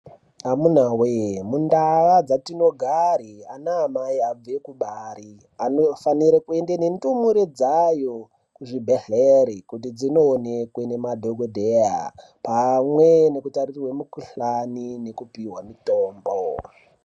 Amunawe mundau dzatinogari ana amai abve kubara anofana kuenda nendumure dzayo kuzvibhedhlera kuti dzindoonekwa nemadhokodheya pamwe nekutarirwa mukuhlani nekupiwa mitombo